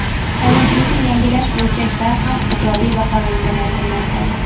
qonunchilikni yangilash bo‘yicha ishlar ham ijobiy baholangani aytilmoqda.